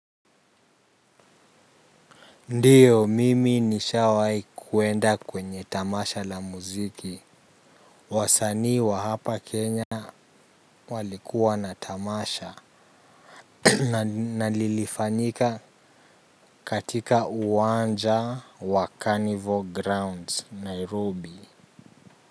Ndio mimi nishawahi kuenda kwenye tamasha la muziki wasanii wa hapa kenya walikuwa na tamasha na lilifanyika katika uwanja wa carnivoral grounds nairobi.